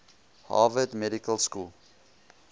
harvard medical school